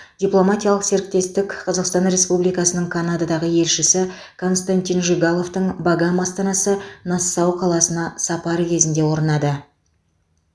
дипломатиялық серіктестік қазақстан республикасының канададағы елшісі константин жигаловтың багам астанасы нассау қаласына сапары кезінде орнады